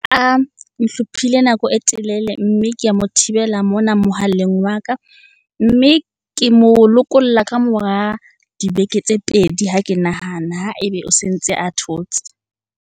A nhlophile nako e telele mme ke a mo thibela mona mohaleng wa ka. Mme ke mo lokolla ka mora dibeke tse pedi ha ke nahana, ha ebe o sentse a thotse.